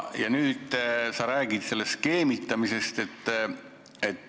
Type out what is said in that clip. Ja nüüd sa räägid skeemitamisest.